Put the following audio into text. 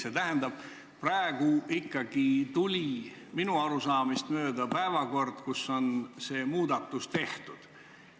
See tähendab, et praegu tuli minu arusaamist mööda meile ikkagi päevakord, milles see muudatus on tehtud.